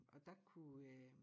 Og dér kunne øh